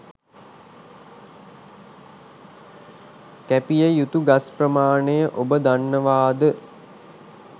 කැපිය යුතු ගස් ප්‍රමාණය ඔබ දන්නවාද?